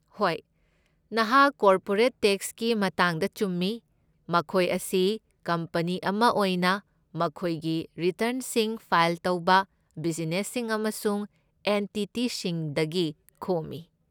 ꯍꯣꯏ, ꯅꯍꯥꯛ ꯀꯣꯔꯄꯣꯔꯦꯠ ꯇꯦꯛꯁꯀꯤ ꯃꯇꯥꯡꯗ ꯆꯨꯝꯃꯤ, ꯃꯈꯣꯏ ꯑꯁꯤ ꯀꯝꯄꯅꯤ ꯑꯃ ꯑꯣꯏꯅ ꯃꯈꯣꯏꯒꯤ ꯔꯤꯇꯔꯟꯁꯤꯡ ꯐꯥꯏꯜ ꯇꯧꯕ ꯕꯤꯖꯤꯅꯦꯁꯁꯤꯡ ꯑꯃꯁꯨꯡ ꯑꯦꯟꯇꯤꯇꯤꯁꯤꯡꯗꯒꯤ ꯈꯣꯝꯃꯤ꯫